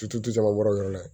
Ci tɛ caman bɔro o yɔrɔ la yen nɔ